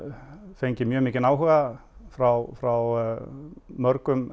fengið mjög mikinn áhuga frá frá mörgum